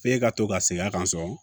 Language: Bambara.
F'e ka to ka segin a kan so